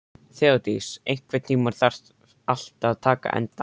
Þeódís, einhvern tímann þarf allt að taka enda.